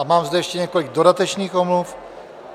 A mám zde ještě několik dodatečných omluv.